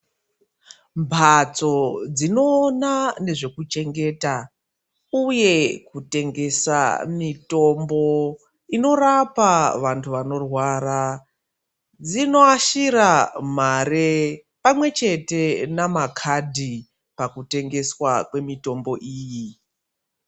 Mphatso dzinoona nezvekuchengeta ,uye kutengesa mitombo inorapa vantu vanorwara, dzinoashira mare pamwe chete namakhadhi pakutengeswa kwemitombo iyi.